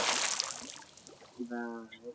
কিবা ।